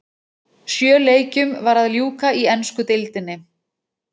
Sjö leikjum var að ljúka í ensku deildinni.